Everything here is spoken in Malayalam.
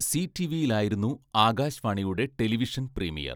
സീ ടിവിയിലായിരുന്നു ആകാശ് വാണിയുടെ ടെലിവിഷൻ പ്രീമിയർ.